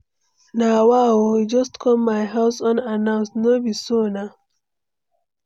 Na wa o, you just come my house unannounced. No be so nah!